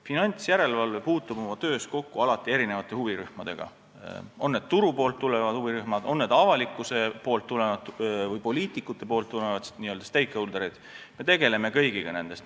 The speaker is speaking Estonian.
Finantsjärelevalve puutub oma töös alati kokku erinevate huvirühmadega, on need turuga seotud huvirühmad või on need avalikkusega või poliitikutega seotud, n-ö stakeholder'id, ja me tegeleme kõigi nendega.